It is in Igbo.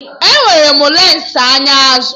Enwere m lensi anya azụ